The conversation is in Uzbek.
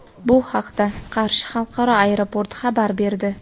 Bu haqda Qarshi xalqaro aeroporti xabar berdi.